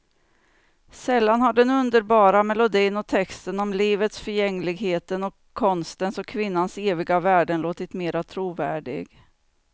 Sällan har den underbara melodin och texten om livets förgängligheten och konstens och kvinnans eviga värden låtit mera trovärdig.